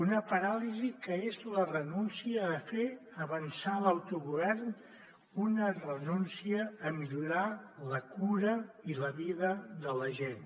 una paràlisi que és la renúncia a fer avançar l’autogovern una renúncia a millorar la cura i la vida de la gent